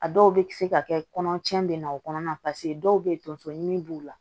A dɔw bɛ se ka kɛ kɔnɔ cɛn bɛ na o kɔnɔna na dɔw bɛ yen tonso min b'u la